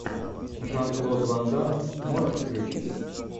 жан клод ван дамм можешь включить